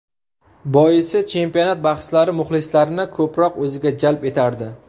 Boisi chempionat bahslari muxlislarni ko‘proq o‘ziga jalb etardi.